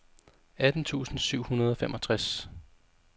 atten tusind syv hundrede og femogtres